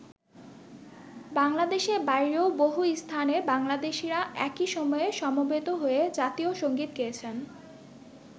বাংলাদেশের বাইরেও বহু স্থানে বাংলাদেশীরা একি সময়ে সমবেত হয়ে জাতীয় সঙ্গীত গেয়েছেন।